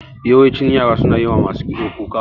Yawancin yara suna yi wa masu kitso kuka.